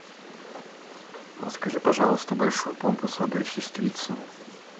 закажи пожалуйста большую помпу с водой сестрица